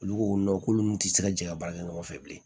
Olu ko k'olu nun tɛ se ka jɛ ka baara kɛ ɲɔgɔn fɛ bilen